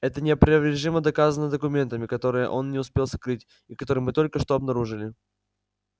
это неопровержимо доказано документами которые он не успел скрыть и которые мы только что обнаружили